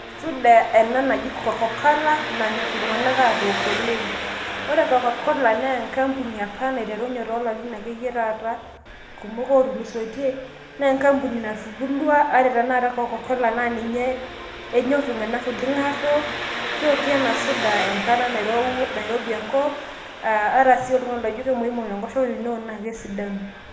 Suda ena naji cocola nanyorr iltunganak atook oleng. ore cocola naa enkampuni apa naiterunye toolarin ake yie taata kumok otulusoitie .naa enkampuni natubulua ore tenakata cocola naa ninnye enyorr iltunganak oleng atook. keoki ena suda enkata nairowua we enkata nairobi enkop. ata si naji oltungani oikonji enkoshoke naa teneok naa kesidanu.